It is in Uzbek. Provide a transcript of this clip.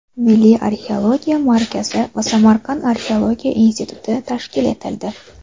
Milliy arxeologiya markazi va Samarqand arxeologiya instituti tashkil etildi.